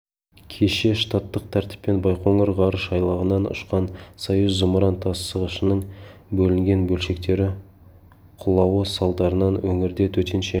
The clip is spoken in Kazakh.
кеше штаттық тәртіппен байқоңыр ғарыш айлағынан ұшқан союз зымыран тасығышының бөлінген бөлшектері құлауы салдарынан өңірде төтенше